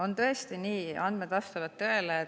On tõesti nii, teie andmed vastavad tõele.